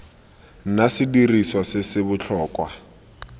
nna sediriswa se se botlhokwa